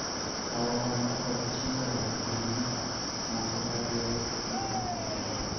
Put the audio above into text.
kawo hola kod chiwo hola gin gik moko ariyo ma opogore